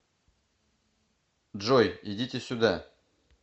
джой идите сюда